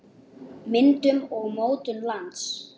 Myndun og mótun lands